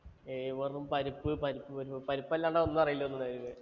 വെറും പരിപ്പ് പരിപ്പ് പരിപ്പ് അല്ലാണ്ട് ഒന്നും അറിയില്ല വേറെ.